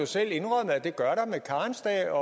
selv indrømmet at det gør der med karensdage